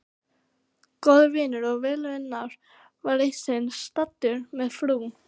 Góður vinur og velunnari var eitt sinn staddur með frú